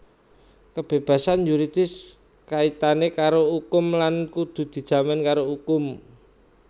Kebébasan yuridis kaitané karo ukum lan kudu dijamin karo ukum